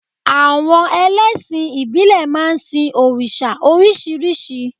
Àwon elésìn ìbílè máa n sin òrìsà orísírìsí